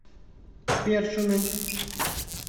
першиным